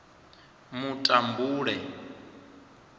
mutambule